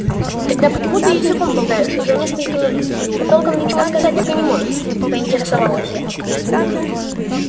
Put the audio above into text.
тогда почему ты языком болтаешь уже несколько минут а толком ничего сказать так и не можешь поинтересовалась я